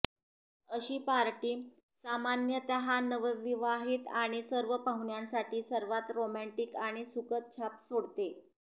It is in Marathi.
अशी पार्टी सामान्यतः नवविवाहित आणि सर्व पाहुण्यांसाठी सर्वात रोमँटिक आणि सुखद छाप सोडते